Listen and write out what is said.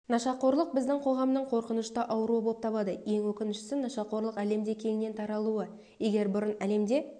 нашақорлық біздің қоғамның қорқынышты ауруы болып табылады ең өкініштісі нашақорлықтың әлемде кеңінен таралуы егер бұрын әлемде